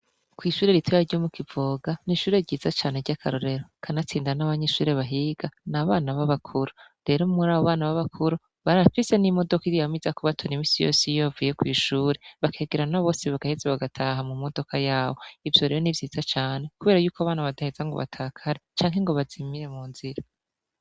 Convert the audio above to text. Kw'ishure ritoya ryo mukivoga n'ishure ryiza cane ry'akarorero kanatsinda n'abanyishure bahiga n'abana b'abakuru rero muri abo bana b'abakuru barafise n'imodoka yama iza kubatona imisi yose yiyovaye kw'ishure bakegerana bose bagaheze bagataha mu modoka yabo ivyo rero n'ivyiza cane, kubera yuko abana badaheza ngo batakare canke ngo bazimire munzira